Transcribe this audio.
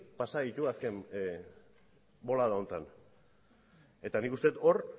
pasa ditu azken bolada honetan eta nik uste dut hor